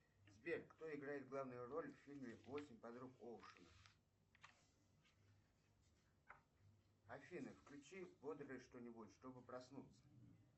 сбер кто играет главную роль в фильме восемь подруг оушена афина включи бодрое что нибудь что бы проснуться